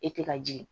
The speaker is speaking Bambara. E tɛ ka jigin